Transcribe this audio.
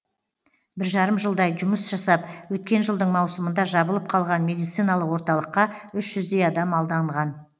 бір жарым жылдай жұмыс жасап өткен жылдың маусымында жабылып қалған медициналық орталыққа үш жүздей адам алданған